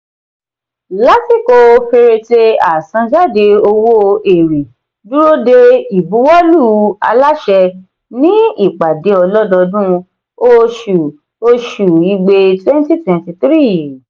lásìkò fẹrẹte àṣan-jade owó èrè dúró de ibuwọlu aláṣẹ ní ìpàdé ọlọdọọdún oṣù oṣù igbe twenty twenty three.